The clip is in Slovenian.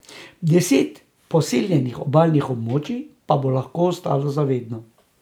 Deset poseljenih obalnih območij pa bo lahko ostalo za vedno.